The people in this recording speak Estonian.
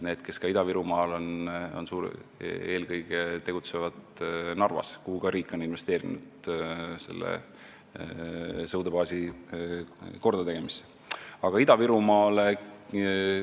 Need, kes Ida-Virumaal on, tegutsevad eelkõige Narvas, mille sõudebaasi kordategemisse on riik ka investeerinud.